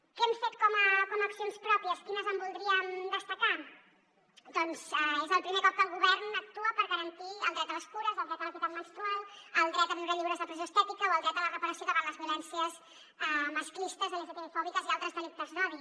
què hem fet com a accions pròpies quines en voldríem destacar doncs és el primer cop que el govern actua per garantir el dret a les cures el dret a l’equitat menstrual el dret a viure lliures de pressió estètica o el dret a la reparació davant les violències masclistes lgtbi fòbiques i altres delictes d’odi